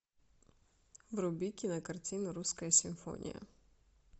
вруби кинокартину русская симфония